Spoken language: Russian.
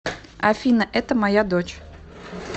афина это моя дочь